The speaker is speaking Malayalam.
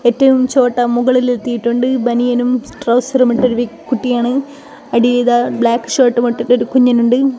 ഏറ്റവും ചോട്ടാ മുകളിൽ എത്തിയിട്ടുണ്ട് ബനിയനും ട്രൗസറും ഇട്ട ഒരു വ്യക് കുട്ടിയാണ് അടിയിൽ ഇതാ ബ്ലാക്ക് ഷർട്ടുമിട്ടിട്ട് ഒരു കുഞ്ഞനുണ്ട്.